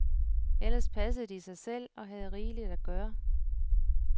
Ellers passede de sig selv og havde rigeligt at gøre.